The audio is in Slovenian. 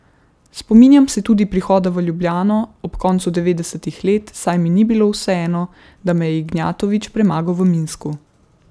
Spominjam se tudi prihoda v Ljubljano ob koncu devetdesetih let, saj mi ni bilo vseeno, da me je Ignjatovič premagal v Minsku.